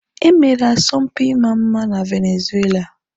E mere asọmpi ịma mma na Venezuela.